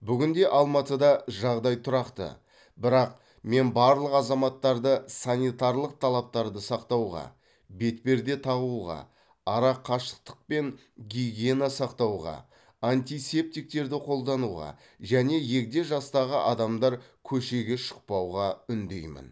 бүгінде алматыда жағдай тұрақты бірақ мен барлық азаматтарды санитарлық талаптарды сақтауға бетперде тағуға арақашықтық пен гигиенаны сақтауға антисептиктерді қолдануға және егде жастағы адамдар көшеге шықпауға үндеймін